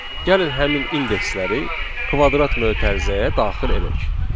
Gəlin həmin indeksləri kvadrat mötərizəyə daxil edək.